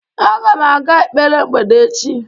agam aga ekpere mgbede echi